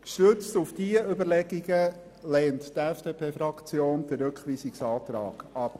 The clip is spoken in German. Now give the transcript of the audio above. Gestützt auf diese Überlegungen lehnt die FDP-Fraktion den Rückweisungsantrag ab.